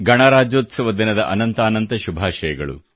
ಗಣರಾಜ್ಯೋತ್ಸವ ದಿನದ ಅನಂತಾನಂತ ಶುಭಾಶಯಗಳು